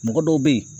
Mɔgɔ dɔw bɛ yen